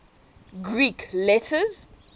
greek letters